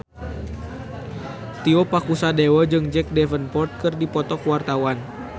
Tio Pakusadewo jeung Jack Davenport keur dipoto ku wartawan